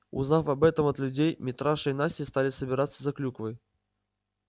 узнав об этом от людей митраша и настя стали собираться за клюквой